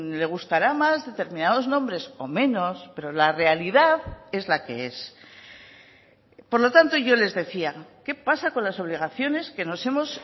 le gustará más determinados nombres o menos pero la realidad es la que es por lo tanto yo les decía qué pasa con las obligaciones que nos hemos